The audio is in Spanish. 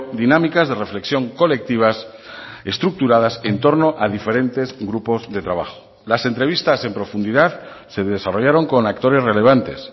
dinámicas de reflexión colectivas estructuradas en torno a diferentes grupos de trabajo las entrevistas en profundidad se desarrollaron con actores relevantes